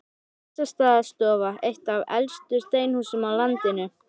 Bessastaðastofa, eitt af elstu steinhúsum á landinu.